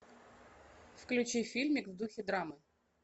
включи фильмик в духе драмы